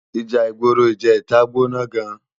Íjà igbóró ijètá gbóná gán